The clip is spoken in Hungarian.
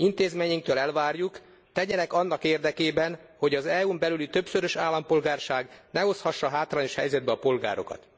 Intézményeinktől elvárjuk, tegyenek annak érdekében, hogy az EU n belüli többszörös állampolgárság ne hozhassa hátrányos helyzetbe a polgárokat.